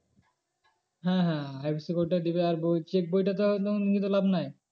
হ্যাঁ হ্যাঁ IFSC code টা দেবে আর ওই check বইটা নিয়ে তো লাভ নাই।